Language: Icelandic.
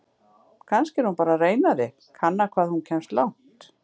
Kannski er hún bara að reyna þig, kanna hvað hún kemst langt!